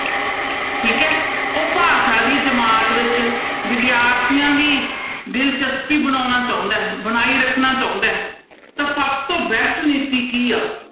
ਠੀਕ ਹੈ ਉਹ ਭਾਸ਼ਾ ਦੀ ਜਮਾਤ ਵਿੱਚ ਵਿਦਿਆਰਥੀਆਂ ਦੀ ਦਿਲਚਸਪੀ ਬਣਾਉਣਾ ਚਾਹੁੰਦਾ ਹੈ ਬਣਾਈ ਰੱਖਣਾ ਚਾਹੁੰਦਾ ਹੈ, ਤਾਂ ਸਭ ਤੋਂ best ਨੀਤੀ ਕੀ ਆ?